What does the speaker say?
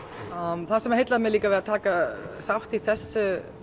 það sem heillaði mig líka við að taka þátt í þessu